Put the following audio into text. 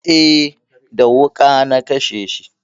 Eh, da wuƙa na kashe shi